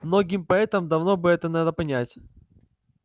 многим поэтам давно бы это надо понять